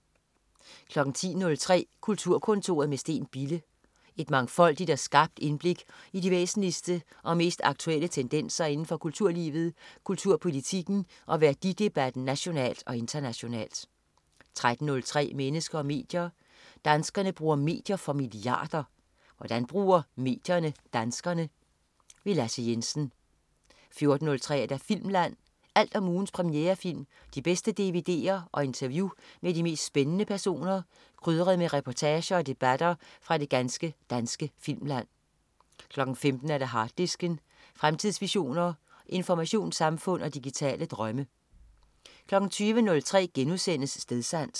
10.03 Kulturkontoret med Steen Bille. Et mangfoldigt og skarpt indblik i de væsentligste og mest aktuelle tendenser indenfor kulturlivet, kulturpolitikken og værdidebatten nationalt og internationalt 13.03 Mennesker og medier. Danskerne bruger medier for milliarder. Hvordan bruger medierne danskerne? Lasse Jensen 14.03 Filmland. Alt om ugens premierefilm, de bedste dvd'er og interview med de mest spændende personer, krydret med reportager og debatter fra det ganske danske filmland 15.00 Harddisken. Fremtidsvisioner, informationssamfund og digitale drømme 20.03 Stedsans*